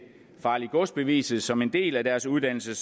farligt gods beviset som en del af deres uddannelse